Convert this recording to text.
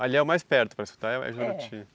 Ali é o mais perto para estudar, é é Juruti? É